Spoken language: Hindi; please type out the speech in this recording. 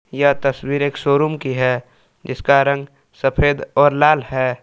यह तस्वीर एक शोरूम की है जिसका रंग सफेद और लाल है।